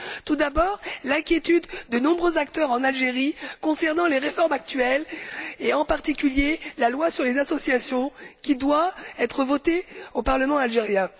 Tout d'abord, l'inquiétude de nombreux acteurs en Algérie concernant les réformes actuelles et, en particulier, la loi sur les associations qui doit être votée au parlement algérien.